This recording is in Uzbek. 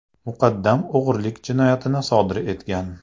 muqaddam o‘g‘rilik jinoyatini sodir etgan.